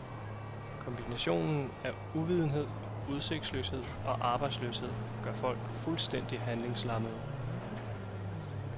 Kombinationen af uvidenhed, udsigtsløshed og arbejdsløshed gør folk fuldstændig handlingslammede.